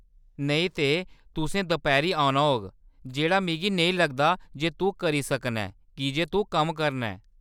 नेईं ते, तुसें दपैह्‌‌री औना होग, जेह्‌‌ड़ा मिगी नेईं लगदा जे तूं करी सकना ऐं कीजे तूं कम्म करना ऐ।